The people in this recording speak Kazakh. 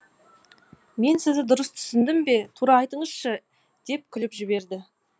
мен сізді дұрыс түсіндім бе тура айтыңызшы деп күліп жіберді